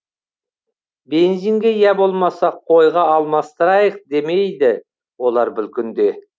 бензинге я болмаса қойға алмастырайық демейді олар бұл күнде